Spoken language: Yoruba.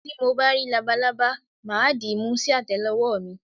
Tí mo bá rí labalábá, mà á dìímú sí àtẹ́lé ọwọ́ mi.